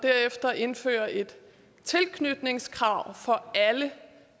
derefter indfører et tilknytningskrav for alle